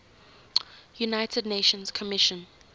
united nations commission